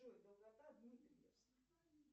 джой долгота дмитриевск